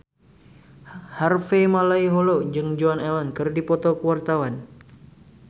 Harvey Malaiholo jeung Joan Allen keur dipoto ku wartawan